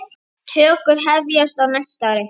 Tökur hefjast á næsta ári.